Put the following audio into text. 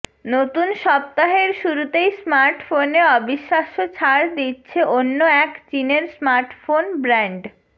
নতুন সপ্তাহের শুরুতেই স্মার্টফোনে অবিশ্বাস্য ছাড় দিচ্ছে অন্য এক চিনের স্মার্টফোন ব্র্যান্ড